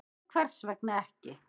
"""Nú, hvers vegna ekki?"""